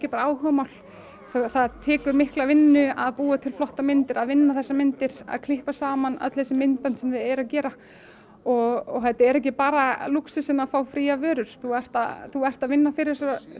bara áhugamál það tekur mikla vinnu að búa til flottar myndir að vinna þessar myndir að klippa saman öll þessi myndbönd sem þau eru að gera og þetta er ekki bara lúxusinn að fá fríar vörur þú ert þú ert að vinna fyrir